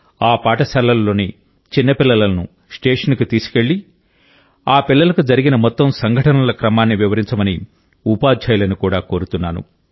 ఆ పాఠశాలలలోని చిన్న పిల్లలను ఆ స్టేషన్కు తీసుకెళ్లి ఆ పిల్లలకు జరిగిన మొత్తం సంఘటనల క్రమాన్ని వివరించమని ఉపాధ్యాయులను కూడా కోరుతున్నాను